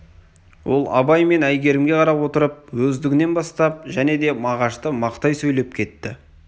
ол абай мен әйгерімге қарап отырып өздігінен бастап және де мағашты мақтай сөйлеп кетті